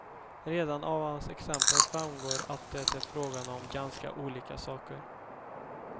Redan av hans exempel framgår att det är fråga om ganska olika saker.